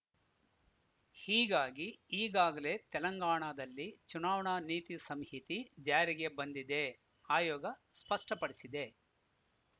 ಹೀಗಾಗಿ ಈಗಾಗಲೇ ತೆಲಂಗಾಣದಲ್ಲಿ ಚುನಾವಣಾ ನೀತಿ ಸಂಹಿಥಿ ಜಾರಿಗೆ ಬಂದಿದೆ ಆಯೋಗ ಸ್ಪಷ್ಟಪಡಿಸಿದೆ